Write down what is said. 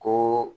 Ko